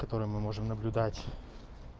которые мы можем наблюдать